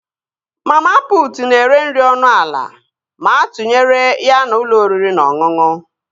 Mama putu na-ere nri ọnụ ala ma atụnyere ya na ụlọ oriri na ọṅụṅụ